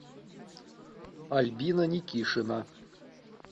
альбина никишина